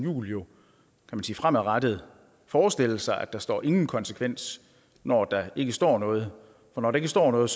juhl jo fremadrettet forestille sig at der står ingen konsekvens når der ikke står noget og når der ikke står noget